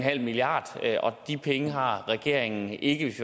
milliard kr og de penge har regeringen ikke hvis